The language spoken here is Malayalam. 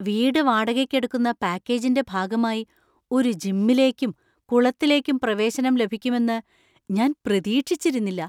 വീട് വാടകയ്ക്കെടുക്കുന്ന പാക്കേജിന്‍റെ ഭാഗമായി ഒരു ജിമ്മിലേക്കും കുളത്തിലേക്കും പ്രവേശനം ലഭിക്കുമെന്ന് ഞാൻ പ്രതീക്ഷിച്ചിരുന്നില്ല.